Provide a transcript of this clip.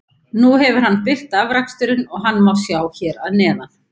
Nú hefur hann birt afraksturinn og hann má sjá hér að neðan.